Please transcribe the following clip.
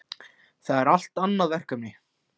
Það er allt annað verkefni.